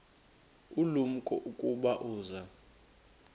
ulumko ukuba uza